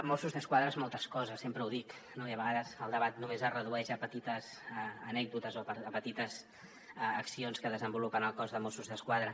mossos d’esquadra és moltes coses sempre ho dic no i a vegades el debat només es redueix a petites anècdotes o a petites accions que desenvolupen el cos de mossos d’esquadra